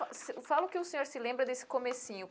Fala o que o senhor se lembra desse comecinho.